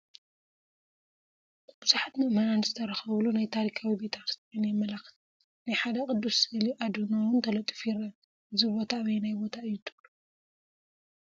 ብዙሓት ምእመናን ዝተረኽብሉ ናይ ታሪኻዊ ቤተ ክርስትያን የመላኽት ናይ ሓደ ቅዱስ ስእሊ ኣድህኖ ውን ተለጢፉ ይረአ፡፡ እዚ ቦታ ኣበየናይ ቦታ አዩ ትብሉ?